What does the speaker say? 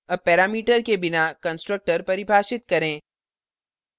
अब parameter के बिना constructor परिभाषित करें